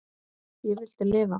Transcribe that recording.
Ég vildi lifa.